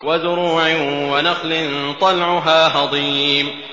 وَزُرُوعٍ وَنَخْلٍ طَلْعُهَا هَضِيمٌ